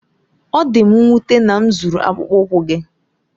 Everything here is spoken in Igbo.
Ọ dị m nwute na m zuru akpụkpọ ụkwụ gị.